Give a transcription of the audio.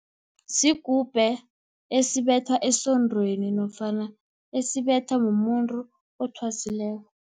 Sigubhu, esibethwa esondweni, nofana esibethwa mumuntu othwasileko.